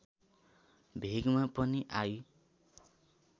भेगमा पनि आई